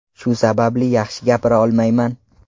Shu sababli yaxshi gapira olmayman.